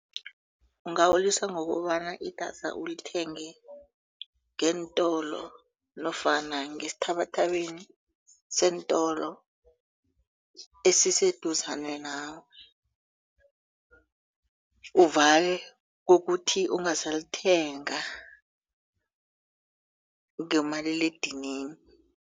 Ungawulisa ngokobana idata ulithenge ngeentolo nofana ngesithabathabeni seentolo esiseduzane nawe uvale kokuthi ungasalithenga ngomaliledinini.